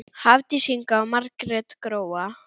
Hafdís Inga og Margrét Gróa.